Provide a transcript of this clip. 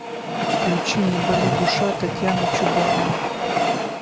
включи не боли душа татьяна чубарова